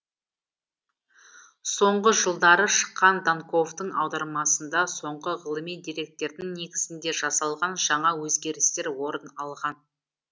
соңғы жылдары шыққан данковтың аудармасында соңғы ғылыми деректердің негізінде жасалған жаңа өзгерістер орын алған